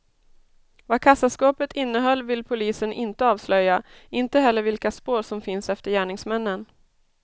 Vad kassaskåpet innehöll vill polisen inte avslöja, inte heller vilka spår som finns efter gärningsmännen.